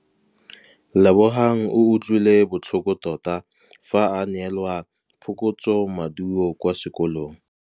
Lebogang o utlwile botlhoko tota fa a neelwa phokotsômaduô kwa sekolong.